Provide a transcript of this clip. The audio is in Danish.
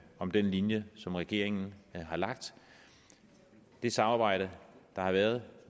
om den linje som regeringen har lagt det samarbejde der har været